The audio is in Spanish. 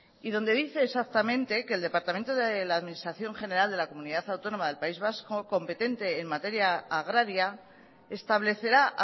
y donde dice exactamente que el departamento de la administración general de la comunidad autónoma del país vasco competente en materia agraria establecerá